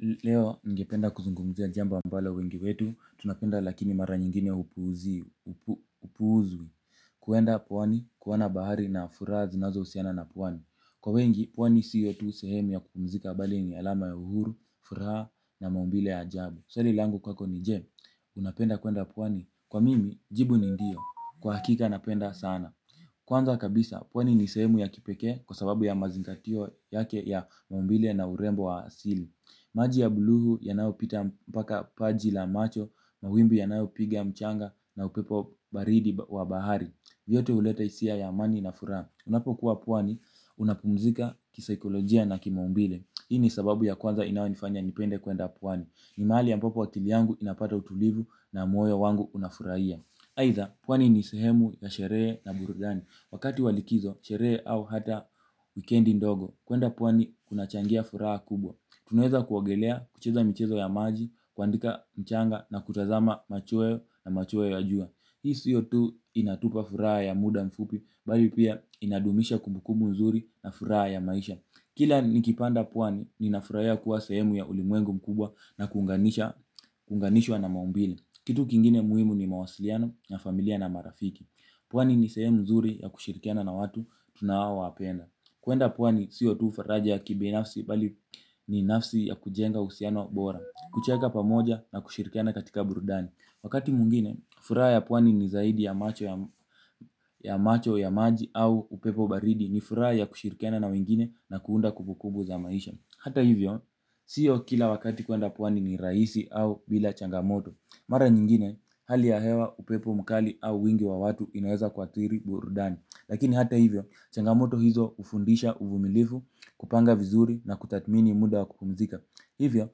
Leo ningependa kuzungumzia jambo ambalo wengi wetu, tunapenda lakini mara nyingine hupuuzwa, kwenda pwani, kuona bahari na furaha zinazohusiana na pwani. Kwa wengi, pwani siyo tu sehemu ya kupumzika bali ni alama ya uhuru, furaha na maumbile ya ajabu. Swali langu kwako ni je? Unapenda kwenda pwani? Kwa mimi, jibu ni ndio. Kwa hakika napenda sana. Kwanza kabisa, pwani ni sehemu ya kipekee kwa sababu ya mazingatio yake ya maubile na urembo wa asili. Maji ya bluu yanayopita mpaka paji la macho. Mawimbi yanayopiga mchanga na upepo baridi wa bahari. Vyote huleta hisia ya amani na furaha. Unapokuwa pwani unapumzika kisikolojia na kimaumbile hii ni sababu ya kwanza inayonifanya nipende kwenda pwani. Ni mahali ambapo akili yangu inapata utulivu na moyo wangu unafurahia aidha pwani ni sehemu ya sherehe na burudani. Wakati wa likizo sherehe au hata wikendi ndogo kwenda pwani kunachangia furaha kubwa. Tunaeza kuwaogelea, kucheza michezo ya maji, kuandika mchanga na kutazama machweo na machweo ya jua hii siyo tu inatupa furaha ya muda mfupi, mbali pia inadumisha kumbukumbu nzuri na furaha ya maisha. Kila nikipanda pwani, ninafurahia kuwa sahemu ya ulimwengu mkubwa na kuunganishwa na maumbile. Kitu kingine muhimu ni mawasiliano na familia na marafiki. Pwani ni sehemu nzuri ya kushirikiana na watu tunaowapenda. Kwenda pwani siyo tu faraja ya kibinafsi mbali ni nafsi ya kujenga uhusiano bora. Kucheka pamoja na kushirikiana katika burudani. Wakati mwingine, furaha ya pwani ni zaidi ya macho ya maji au upepo baridi ni furaha ya kushirikiana na wengine na kuunda kumbukumbu za maisha. Hata hivyo, siyo kila wakati kwenda pwani ni rahisi au bila changamoto. Mara nyingine, hali ya hewa upepo mkali au wingi wa watu inaeza kuadhiri burudani. Lakini hata hivyo changamoto hizo hufundisha uvumilivu kupanga vizuri na kutathmini muda wa kupumzika. Hivyo,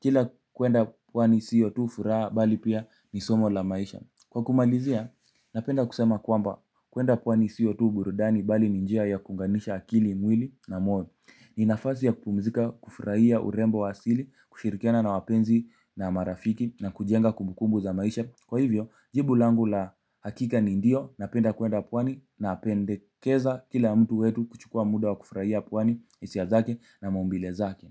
kila kwenda kwani siyo tu furaha bali pia ni somo la maisha. Kwa kumalizia, napenda kusema kwamba kwenda kwani siyo tu burudani bali ni njia ya kuunganisha akili mwili na moyo. Ni nafasi ya kupumzika kufurahia urembo wa asili, kushirikiana na wapenzi na marafiki na kujenga kumbukumbu za maisha. Kwa hivyo, jibu langu la hakika ni ndio, napenda kwenda pwani, napendekeza kila mtu wetu kuchukua muda wa kufurahia pwani, hisia zake na maumbile zake.